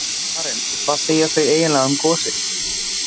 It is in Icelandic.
Karen: Og hvað segja þau eiginlega um gosið?